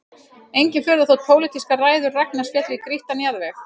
Engin furða þótt pólitískar ræður Ragnars féllu í grýttan jarðveg